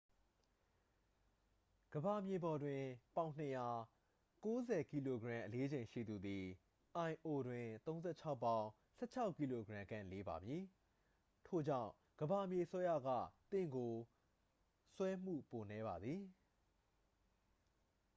ကမ္ဘာမြေပေါ်တွင် ပေါင် ၂၀၀ ၉၀ kg အလေးချိန်ရှိသူသည် lo တွင် ၃၆ ပေါင် ၁၆ kg ခန့် လေးပါမည်။ ထို့ကြောင့် ကမ္ဘာမြေဆွဲအားက သင့်ကို ဆွဲမှု ပိုနည်းပါသည်။